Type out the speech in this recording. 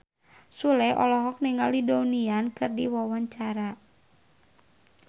Sule olohok ningali Donnie Yan keur diwawancara